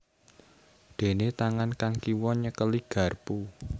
Déné tangan kang kiwa nyekeli garpu